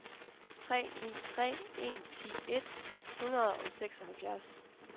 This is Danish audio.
tre ni tre en ti et hundrede og seksoghalvfjerds